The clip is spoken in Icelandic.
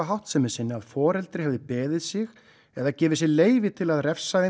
háttsemi sinni að foreldri hefði beðið sig eða gefið sér leyfi til að refsa